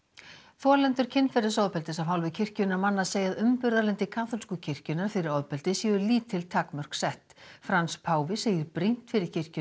þolendur kynferðisofbeldis af hálfu kirkjunnar manna segja að umburðarlyndi kaþólsku kirkjunnar fyrir ofbeldi séu lítil takmörk sett Frans páfi segir brýnt fyrir kirkjuna